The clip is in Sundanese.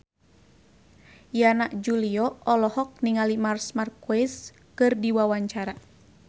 Yana Julio olohok ningali Marc Marquez keur diwawancara